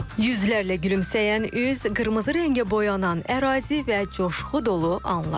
Yüzlərlə gülümsəyən üz, qırmızı rəngə boyanan ərazi və coşqu dolu anlar.